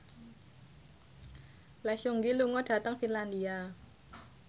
Lee Seung Gi lunga dhateng Finlandia